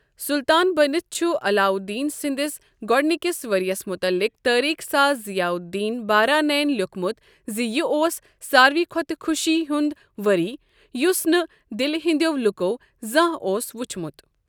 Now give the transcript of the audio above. سلطان بٔنتھ چھُ علاؤالدین سٔنٛدس گوڑنِکِس ؤریس مُتلعق تاریخ ساز ضیاء الدین بارانیَن لٮ۪وکھمُت زِ یہِ اوس ساروٕے کھۄتہٕ خوشی ہُنٛد وری یُس نہٕ دِلہ ہِنٛدٮ۪و لوٗکو زانٛہہ اوس وچھمُت۔